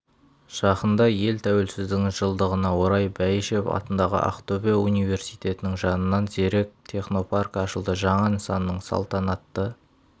жақында ел тәуелсіздігінің жылдығына орай бәйішев атындағы ақтөбе университетінің жанынан зерек технопаркі ашылды жаңа нысанның салтанатты